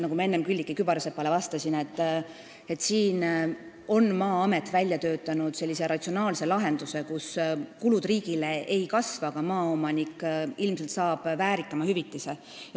Nagu ma enne Külliki Kübarsepale vastasin, Maa-amet on välja töötanud ratsionaalse lahenduse, et riigi kulud ei kasvaks, aga maaomanik saab ilmselt väärikama hüvitise.